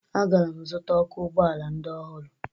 Agara m zụta ọkụ ụgbọala ndị ọhụrụ